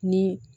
Ni